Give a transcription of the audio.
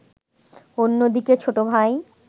অন্যদিকে ছোটভাই